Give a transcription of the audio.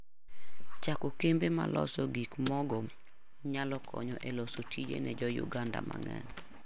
Chako kembe ma loso gikmogo nyalo konyo e loso tije ne Jo-Uganda mang'eny.